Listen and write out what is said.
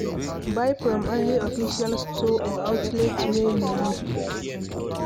Buy from only official store or outlets wey you know